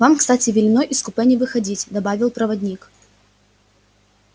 вам кстати велено из купе не выходить добавил проводник